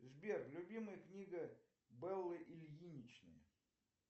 сбер любимая книга беллы ильиничны